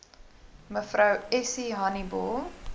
mev essie honiball